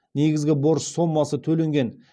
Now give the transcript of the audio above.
негізгі борыш сомасы төленген